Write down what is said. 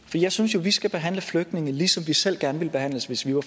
jeg synes jo at vi skal behandle flygtninge ligesom vi selv gerne ville behandles hvis vi var